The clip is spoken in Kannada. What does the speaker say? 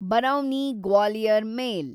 ಬರೌನಿ ಗ್ವಾಲಿಯರ್ ಮೇಲ್